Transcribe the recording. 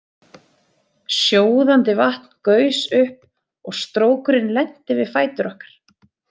Sjóðandi vatn gaus upp og strókurinn lenti við fætur okkar.